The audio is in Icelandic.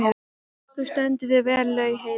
Þú stendur þig vel, Laugheiður!